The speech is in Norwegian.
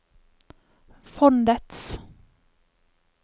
fondets